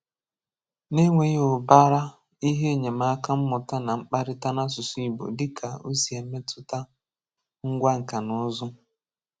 Nà ènwèghị ụbàrà ìhè enyẹmákà mmụtà nà mkpàrịtà n'àsụsụ Igbo dịkà o sì mètụtà ngwá nkà nà ụzụ.